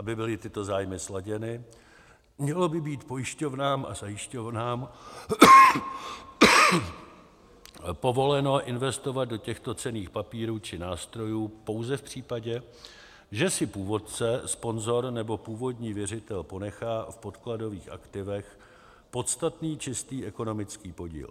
Aby byly tyto zájmy sladěny, mělo by být pojišťovnám a zajišťovnám povoleno investovat do těchto cenných papírů či nástrojů pouze v případě, že si původce, sponzor nebo původní věřitel ponechá v podkladových aktivech podstatný čistý ekonomický podíl.